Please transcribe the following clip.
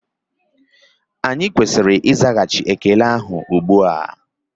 Anyị kwesịrị ịzaghachị ekele ha ugbua